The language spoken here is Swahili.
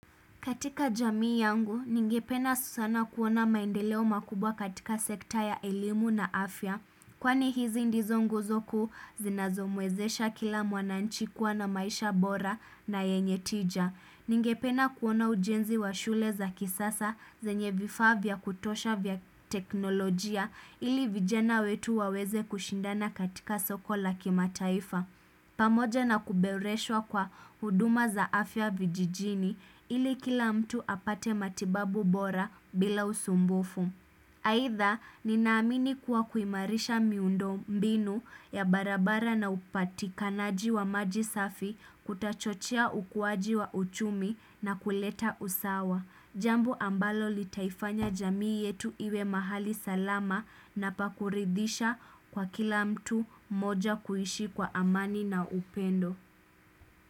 Katika jamii yangu, ningependa sana kuona maendeleo makubwa katika sekta ya elimu na afya Kwani hizi ndizo nguzo kuu zinazomwezesha kila mwananchi kuwa na maisha bora na yenye tija Ningependa kuona ujenzi wa shule za kisasa zenye vifaa vya kutosha vya teknolojia ili vijana wetu waweze kushindana katika soko la kimataifa pamoja na kuboreshwa kwa huduma za afya vijijini ili kila mtu apate matibabu bora bila usumbufu. Aidha, ninaamini kuwa kuimarisha miundo mbinu ya barabara na upatikanaji wa maji safi kutachochea ukuaji wa uchumi na kuleta usawa. Jambo ambalo litaifanya jamii yetu iwe mahali salama na pa kuridhisha kwa kila mtu moja kuishi kwa amani na upendo.